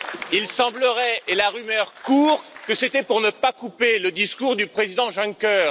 Il semblerait, et la rumeur court, que c'était pour ne pas couper le discours du président Juncker.